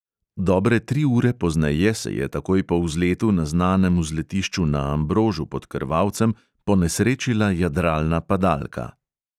Dobre tri ure pozneje se je takoj po vzletu na znanem vzletišču na ambrožu pod krvavcem ponesrečila jadralna padalka.